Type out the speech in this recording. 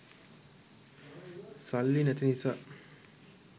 සල්ලි නැති නිසා